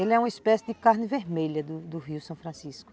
Ele é uma espécie de carne vermelha do do rio São Francisco.